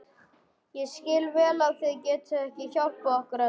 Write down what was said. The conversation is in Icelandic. Ég skil vel að þið getið ekki hjálpað okkur öllum.